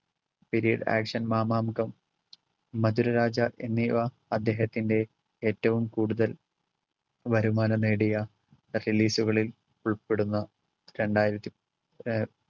billiard action Mamangam, Madhuraraja എന്നിവ അദ്ദേഹത്തിൻറെ ഏറ്റവും കൂടുതൽ വരുമാനം നേടിയ ഉൾപ്പെടുന്ന രണ്ടായിരത്തി ഏർ